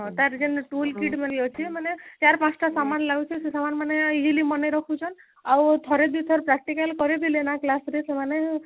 ତାର ଖାଲି tool kit ଭଳି ଅଛି ମାନେ ଚାର ପାଞ୍ଚ ଟା ସାମାନ ଲାଗୁଛି ସାମାନ ମାନେ easily ମାନେ ରଖୁଛନ ଆଉ ଠାରେ ଦୁଇଥର practical କରିଦେଲେ ନା class ରେ ସେମାନେ